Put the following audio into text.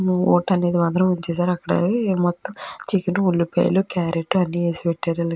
ఓటనేది మాత్రం ఇచ్చేశారు అక్కడ మొత్తం చికెన్ ఉల్లిపాయలు క్యారెట్ అన్ని వేసి పెట్టారు.